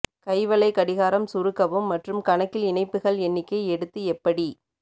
கைவளை கடிகாரம் சுருக்கவும் மற்றும் கணக்கில் இணைப்புகள் எண்ணிக்கை எடுத்து எப்படி